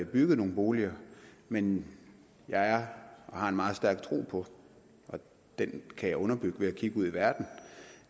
bygget nogle boliger men jeg har en meget stærk tro på og den kan jeg underbygge ved at kigge ud i verden